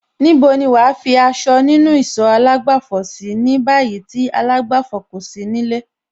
Níbo ni wàá fi aṣọ nínú ìsọ̀ àlágbàfọ̀ sí ní báyìí tí àlágbàfọ̀ kò ti sí nílé?